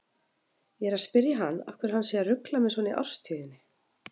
Ég er að spyrja hann af hverju hann sé að rugla mig svona í árstíðinni.